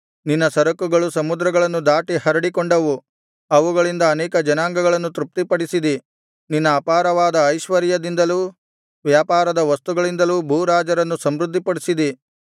ನಿನ್ನ ಸರಕುಗಳು ಸಮುದ್ರಗಳನ್ನು ದಾಟಿ ಹರಡಿಕೊಂಡವು ಅವುಗಳಿಂದ ಅನೇಕ ಜನಾಂಗಗಳನ್ನು ತೃಪ್ತಿಪಡಿಸಿದಿ ನಿನ್ನ ಅಪಾರವಾದ ಐಶ್ವರ್ಯದಿಂದಲೂ ವ್ಯಾಪಾರದ ವಸ್ತುಗಳಿಂದಲೂ ಭೂರಾಜರನ್ನು ಸಮೃದ್ಧಿಪಡಿಸಿದಿ